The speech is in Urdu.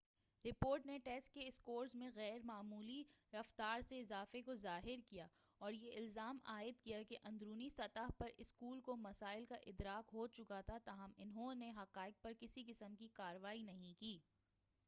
رپورٹ نے ٹیسٹ کے اسکورز میں غیر معمولی رفتار سے اضافے کو ظاہر کیا اور یہ الزام عائد کیا کہ اندرونی سطح پر اسکول کو مسائل کا ادراک ہو چکا تھا تاہم انہوں نے ان حقائق پر کسی قسم کی کارروائی نہیں کی